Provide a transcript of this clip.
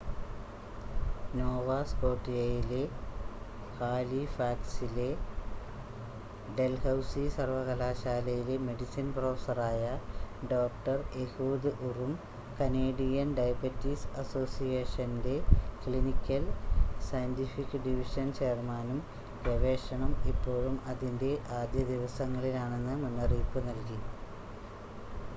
Nova സ്‌കോട്ടിയയിലെ ഹാലിഫാക്സിലെ Dalhousie സർവകലാശാലയിലെ മെഡിസിൻ പ്രൊഫസ്സറായ ഡോക്‌ടർ എഹൂദ് ഉറും കനേഡിയൻ ഡയബറ്റിസ് അസോസിയേഷൻ്റെ ക്ലിനിക്കൽ സയൻ്റിഫിക്ക് ഡിവിഷൻ ചെയർമാനും ഗവേഷണം ഇപ്പോഴും അതിൻ്റെ ആദ്യ ദിവസങ്ങളിലാണെന്ന് മുന്നറിയിപ്പ് നൽകി